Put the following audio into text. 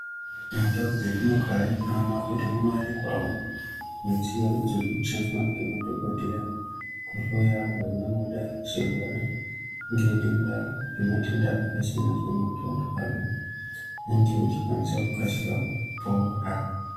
Mundau dzetinogara tinoona kuti munowanikwawo midziyo idzo dzinoshandiswa ngemadhokodheya kuhloya antu angangodai achirwara ngedenda, netamatenda akasiyana siyana kuti antu ange achikwanisa kukasire kupora